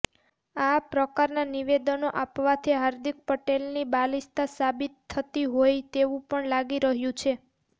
આ પ્રકારના નિવેદનો આપવાથી હાર્દિક પટેલની બાલીસ્તા સાબિત થતી હોય તેવું પણ લાગી રહ્યું છે